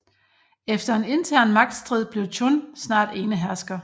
Efter en intern magtstrid blev Chun snart enehersker